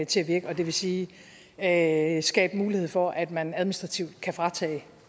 til at virke og det vil sige at skabe mulighed for at man administrativt kan fratage